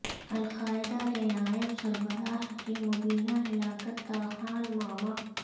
القاعدہ کے نائب سربراہ کی مبینہ ہلاکت تاحال معمہ